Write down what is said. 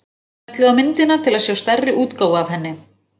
Smellið á myndina til að sjá stærri útgáfu af henni.